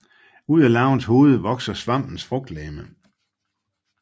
Ud af larvens hoved vokser svampens frugtlegeme